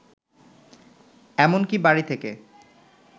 এমন কি বাড়ি থেকে